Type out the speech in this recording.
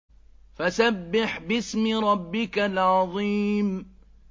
فَسَبِّحْ بِاسْمِ رَبِّكَ الْعَظِيمِ